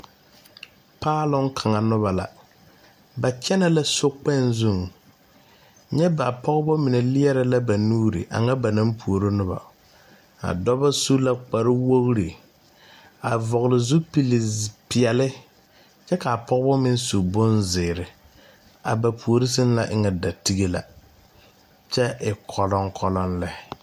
Paaloŋ kaŋa nobɔ la ba kyɛnɛ la sokpèè zuŋ nyɛ ba pɔgbɔ mine lierɛ la ba nuure ba naŋ puoro nobɔ a dɔbɔ su la kpare wogre a vɔgle zupil peɛɛle kyɛvkaa pɔgebɔ meŋ su bonzeere a ba puore sɛŋ na e ŋa da tige la kyɛ e kɔlɔŋkɔlɔŋ lɛ.